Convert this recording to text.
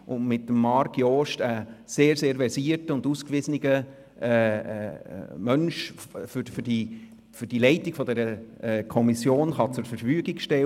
Mit Marc Jost kann sie uns einen sehr, sehr versierten und ausgewiesenen Menschen für die Leitung dieser Kommission zur Verfügung stellen.